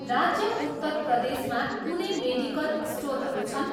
राज्य उत्तर प्रदेश मा कुनै मेडिकल स्टोरहरू छन्?